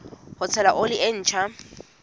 ho tshela oli e ntjha